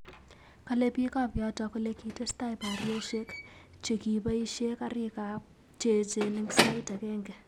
Kale biik ab yoto kole kitestai boryosyek che ki boisye kariiik che eechen eng sait agenge